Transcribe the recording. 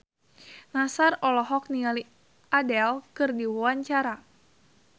Nassar olohok ningali Adele keur diwawancara